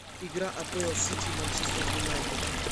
игра апл сити и манчестер юнайтед